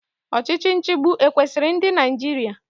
Ọchịchị nchịgbu ekwesiri ndị Naịjirịa?